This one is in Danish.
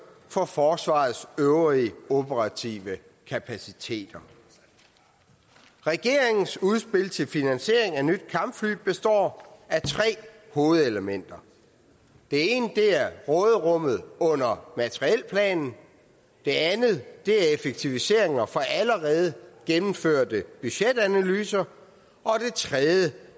for forsvarets øvrige operative kapaciteter regeringens udspil til finansiering af nye kampfly består af tre hovedelementer det ene er råderummet under materielplanen det andet er effektiviseringer for allerede gennemførte budgetanalyser og